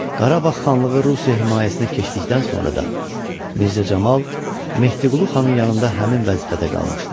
Qarabağ xanlığı Rusiya himayəsinə keçdikdən sonra da Mirzə Camal Mehdiqulu xanın yanında həmin vəzifədə qalmışdı.